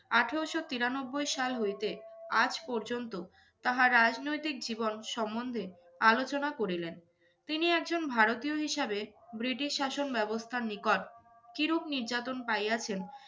আঠেরোশো তিরান্নবই সাল হইতে আজ পর্যন্ত তাহার রাজনৈতিক জীবন সম্বন্ধে আলোচনা করিলেন। তিনি একজন ভারতীয় হিসাবে ব্রিটিশ শাসন ব্যবস্থার নিকট কীরূপ নির্যাতন পাইয়াছেন